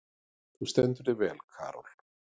Þú stendur þig vel, Karol!